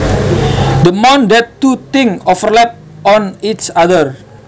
The amount that two things overlap on each other